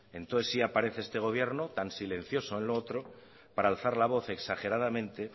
entonces sí aparece este gobierno tan silencioso en lo otro para alzar la voz exageradamente